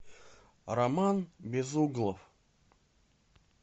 роман безуглов